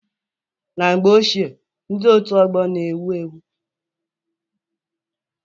Na mgbe ochie, ndị otu ọgbọ na-ewu ewu.